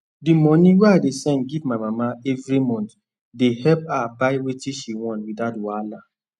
the money wey i dey send give my mama every month dey help her buy wetin she want without wahala